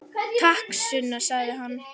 Takk, Sunna, sagði hann.